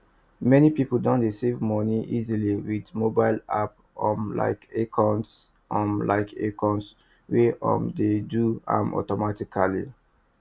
many people don dey save money easily with mobile app um like acorns um like acorns wey um dey do am automatically